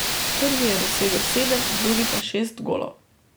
Prvi je dosegel sedem, drugi pa šest golov.